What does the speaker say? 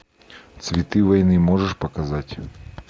цветы войны можешь показать